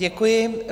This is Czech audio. Děkuji.